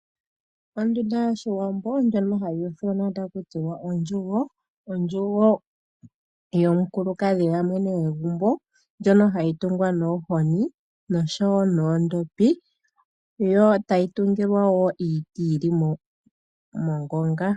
Ondunda yOshiwambo ndjono hayi ithanwa taku tiwa ondjugo. Ondjugo yomukulukadhi, ya mwene gwegumbo ndjono hayi kumbwa noohozi noshowo noondhopi, e tayi dhikilwa wo oshinyanga niiti ya ninga ongonga.